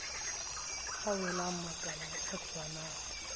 a welang makaleng a tshwanang